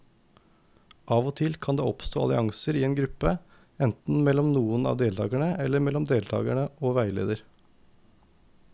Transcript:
Av og til kan det oppstå allianser i en gruppe, enten mellom noen av deltakerne eller mellom deltakere og veileder.